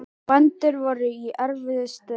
segir Júlía hneyksluð.